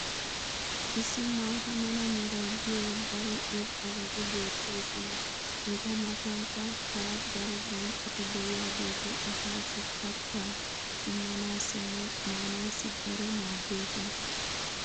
Issi maata mala meray diyo daro irxxabati beetoosona. eta matankka hara daro bonccoti diyaageeti asaassi kataa immanaassinne maanaassi daro maadoosona.